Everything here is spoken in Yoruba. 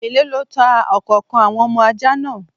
Èló lọ tá ọ̀kànkan àwọn ọmọ ajá náà?